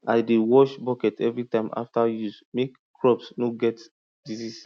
i dey wash bucket every time after use make crops no get disease